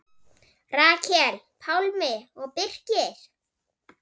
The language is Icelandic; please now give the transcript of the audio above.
Rakel, Pálmi og Birkir.